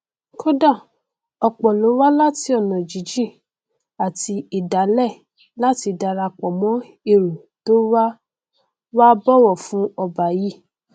kódà ọpọ ló wá láti ọnà jíjìn àti ìdálẹ láti darapọ mọn èrò tó wá wá bọwọ fú ọba yìí